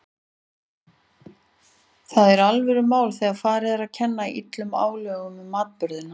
Það er alvörumál þegar farið er að kenna illum álögum um atburðina.